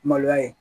Maloya ye